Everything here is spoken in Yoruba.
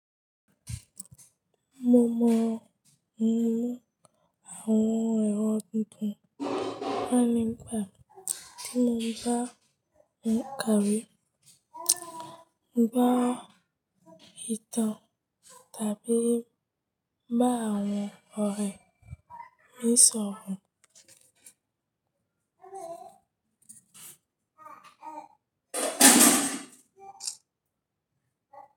Mo mọ inú àwọn ẹ̀rọ titun fàning bà mí tí mo bá ń kàwé, bá ìtàn tàbí bá àwọn ọ̀rẹ́ mi sọ̀rọ̀.